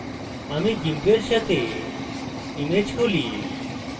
আমি gimp সাথে image খুলি